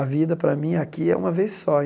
A vida para mim aqui é uma vez só.